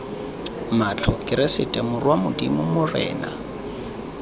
matlho keresete morwa modimo morena